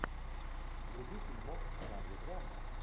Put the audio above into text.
вруби фильмок в жанре драма